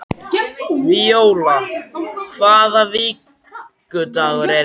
Víóla, hvaða vikudagur er í dag?